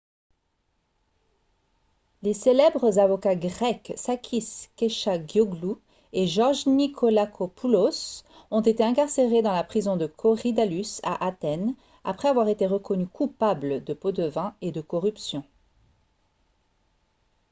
les célèbres avocats grecs sakis kechagioglou et george nikolakopoulos ont été incarcérés dans la prison de korydallus à athènes après avoir été reconnus coupables de pots-de-vin et de corruption